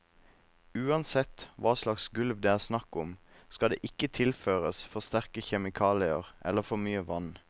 Uansett hva slags gulv det er snakk om, skal det ikke tilføres for sterke kjemikalier eller for mye vann.